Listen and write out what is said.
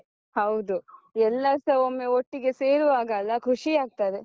ಹೌದು, ಎಲ್ಲಾರ್ಸ ಒಮ್ಮೆ ಒಟ್ಟಿಗೆ ಸೇರುವಾಗಲ್ಲ ಖುಷಿ ಆಗ್ತದೆ.